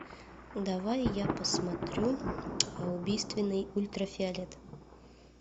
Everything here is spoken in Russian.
давай я посмотрю убийственный ультрафиолет